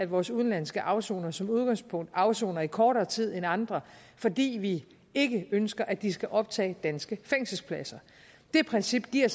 vores udenlandske afsonere som udgangspunkt afsoner i kortere tid end andre fordi vi ikke ønsker at de skal optage danske fængselspladser det princip giver